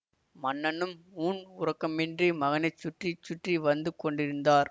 மன்னனும் ஊன் உறக்கமின்றி மகனையே சுற்றி சுற்றி வந்து கொண்டிருந்தார்